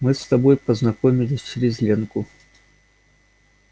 мы с тобой познакомились через ленку